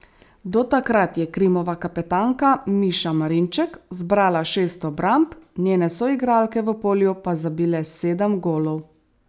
Do takrat je Krimova kapetanka Miša Marinček zbrala šest obramb, njene soigralke v polju pa zabile sedem golov.